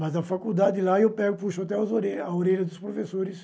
Mas a faculdade lá, eu pego puxo até as orelha a orelha dos professores.